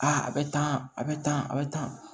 a bɛ tan a bɛ tan a bɛ tan